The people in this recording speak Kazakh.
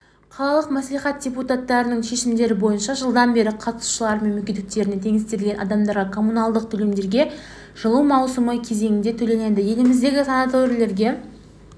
қалалық мәслихат депутаттарының шешімдері бойынша жылдан бері қатысушылары мен мүгедектеріне теңестірілген адамдарға коммуналдық төлемдерге жылу маусымы кезеңінде төленеді еліміздегі санаторийлерге